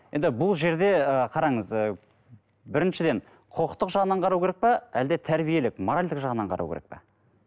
енді бұл жерде ы қараңыз ы біріншіден құқықтық жағынан қарау керек пе әлде тәрбиелік моральдік жағынан қарау керек пе